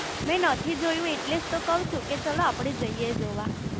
મેં નથી જોયું એટલે તો કવ છું કે ચલો આપડે જઇયે જોવા